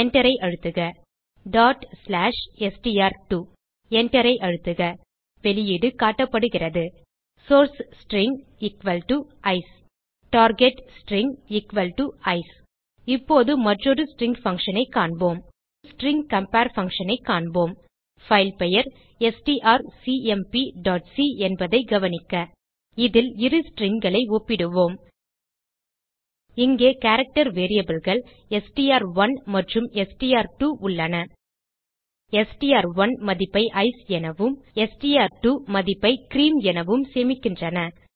Enter ஐ அழுத்துக எழுதுக str2 Enter ஐ அழுத்துக வெளியீடு காட்டப்படுகிறது source string ICE target string ICE இப்போது மற்றொரு ஸ்ட்ரிங் functionஐ காண்போம் இப்போது ஸ்ட்ரிங் கம்பேர் functionஐ காண்போம் பைல் பெயர் strcmpசி என்பதை கவனிக்க இதில் இரு stringகளை ஒப்பிடுவோம் இங்கே கேரக்டர் variableகள் எஸ்டிஆர்1 மற்றும் எஸ்டிஆர்2 உள்ளன எஸ்டிஆர்1 மதிப்பை ஐசிஇ எனவும் எஸ்டிஆர்2 மதிப்பை கிரீம் எனவும் சேமிக்கின்றன